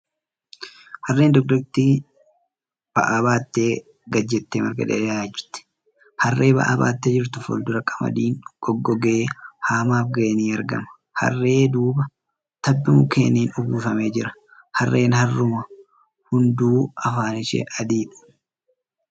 Harreen dugdatti ba'aa baattee gadi jettee marga dheedaa jirti. Harree ba'aa baattee jirtu fuuldura qamadiin goggogee haamaaf ga'e ni argama. Harree duuba tabbi mukkeeniin uwwifamee jira. Harreen harruma hunduu afaan ishee adiidha.